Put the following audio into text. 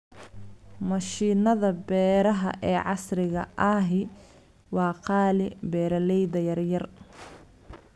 Mashiinnada beeraha ee casriga ahi waa qaali beeralayda yaryar.